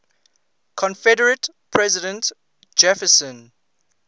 confederate president jefferson